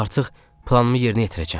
Artıq planımı yerinə yetirəcəm.